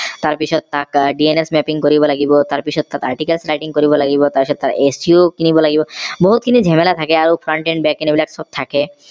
তাৰ পিছত তাক dns mapping কৰিব লাগিব তাৰ পিছত articles typing কৰিব লাগিব তাৰ পিছত acu কিনিব লাগিব বহু খিনি জেমেলা থাকে আৰু এই বিলাক থাকে